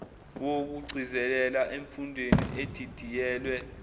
wokugcizelela emfundweni edidiyelwe